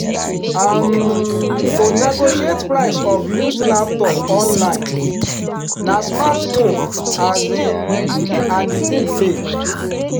um to negotiate price of used laptop online na smart move um an the thing pay.